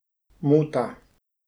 Muta.